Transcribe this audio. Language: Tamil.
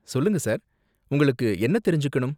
சொல்லுங்க சார், உங்களுக்கு என்ன தெரிஞ்சுக்கணும்?